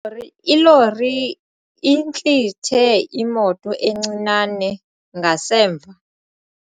Lori ilori intlithe imoto encinane ngasemva.